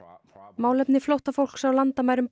málefni flóttafólks á landamærum